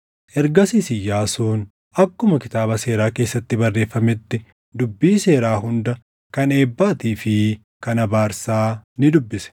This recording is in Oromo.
Ergasiis Iyyaasuun akkuma Kitaaba Seeraa keessatti barreeffametti dubbii seeraa hunda kan eebbaatii fi kan abaarsaa ni dubbise.